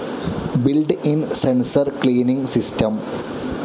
build in sensor cleaning system